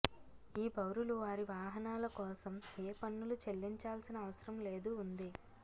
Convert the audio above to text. ఈ పౌరులు వారి వాహనాల కోసం ఏ పన్నులు చెల్లించాల్సిన అవసరం లేదు ఉంది